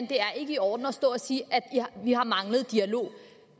det er i orden at stå og sige at vi har manglet dialog